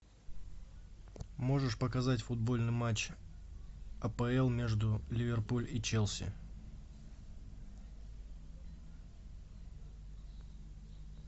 можешь показать футбольный матч апл между ливерпуль и челси